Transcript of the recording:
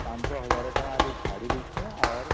୫୦୦୧୦୦୦ ଟଙ୍କା ଛାଡିଦେଇଛି